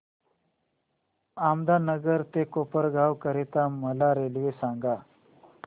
अहमदनगर ते कोपरगाव करीता मला रेल्वे सांगा